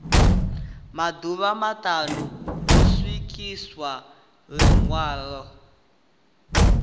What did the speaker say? maḓuvha maṱanu ho swikiswa ḽiṅwalo